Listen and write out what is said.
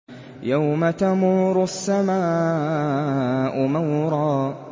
يَوْمَ تَمُورُ السَّمَاءُ مَوْرًا